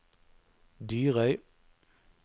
Dyrøy